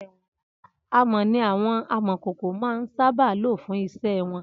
Amọ̀ ni àwọn Amọ̀kòkò máa ń sábà lò fún iṣẹ́ wọn